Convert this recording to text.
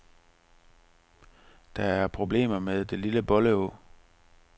Der er problemer med det lille bolle å.